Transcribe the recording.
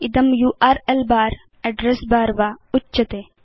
इदं URL bar address bar वा उच्यते